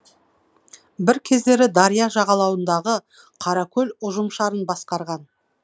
бір кездері дария жағалауындағы қаракөл ұжымшарын басқарған